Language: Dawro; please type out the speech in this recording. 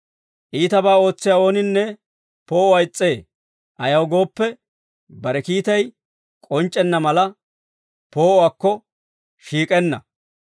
Iitabaa ootsiyaa ooninne poo'uwaa is's'ee; ayaw gooppe, bare kiitay k'onc'c'enna mala, poo'uwaakko shiik'enna.